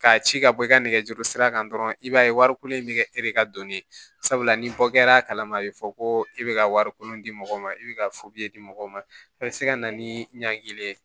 K'a ci ka bɔ i ka nɛgɛjuru sira kan dɔrɔn i b'a ye wariko in bɛ kɛ e de ka dɔnni ye sabula ni bɔ kɛr'a kalama a bɛ fɔ ko e bɛ ka wari kolon di mɔgɔ ma e bɛ ka di mɔgɔ ma a bɛ se ka na ni ɲankili ye